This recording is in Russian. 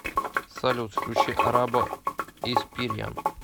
салют включи арабо испириан